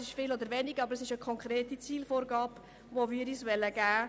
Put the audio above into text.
Es ist aber eine konkrete Zielvorgabe, die wir uns geben wollen.